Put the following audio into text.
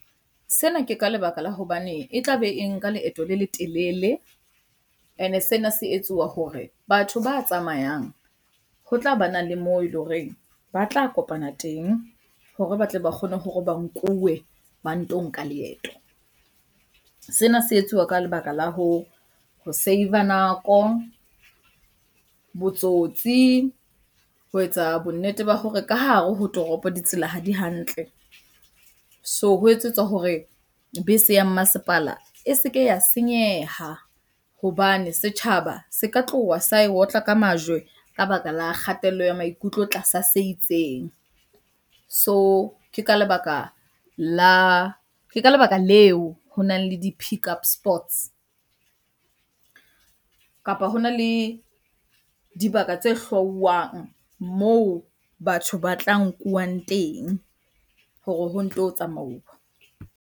Sena ke ka lebaka la hobane e tlabe e nka leeto le letelele, e ne sena se etsuwa hore batho ba tsamayang ho tla banang le moo eleng horeng ba tla kopana teng hore ba tle ba kgone hore ba nkuwe ba nto nka leeto. Sena se etsiwa ka lebaka la ho save-a nako, botsotsi, ho etsa bonnete ba hore ka hare ho toropo ditsela ha di hantle. So ho etsetswa hore bese ya mmasepala e se ke ya senyeha hobane setjhaba se ka tloha sa e otla ka majwe ka baka la kgatello ya maikutlo tlasa se itseng. So ke ka lebaka la, ke ka lebaka leo honang le di-pickup spots kapa hona le dibaka tse hlauwang moo batho ba tla nkuwang teng hore ho nto tsamauwa.